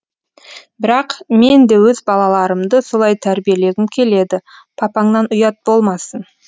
бірақ мен де өз балаларымды солай тәрбиелегім келеді папаңнан ұят болмасын